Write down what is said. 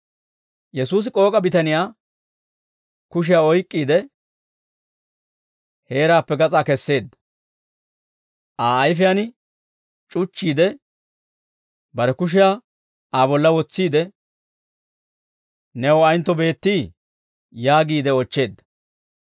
Yesuusi k'ook'a bitaniyaa kushiyaa oyk'k'iide, heeraappe gas'aa kesseedda; Aa ayfiyaan c'uchchiide, bare kushiyaa Aa bolla wotsiide, «New ayentto beettii?» yaagiide oochcheedda.